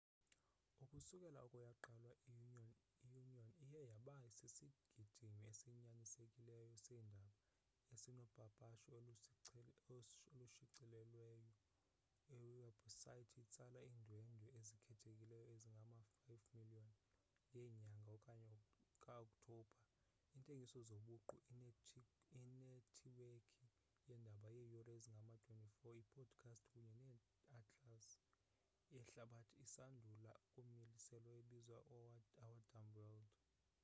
ukusukela oko yaqalwa i-onion iye yaba sisigidimi esinyanisekileyo seendaba esinopapasho olushicilelweyo iwebhusayithi etsala iindwendwe ezikhethekileyo ezingama-5,000,000 ngenyanga ka-okthobha iintengiso zobuqu inethiwekhi yeendaba yeeyure ezingama-24 iipodikhasti kunye neatlasi yehlabathi esandula ukumiliselwa ebizwa our dumb world